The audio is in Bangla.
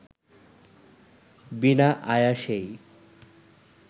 বিনা আয়াসেই